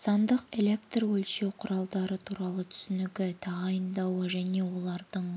сандық электрөлшеу құралдары туралы түсінігі тағайындауы және олардың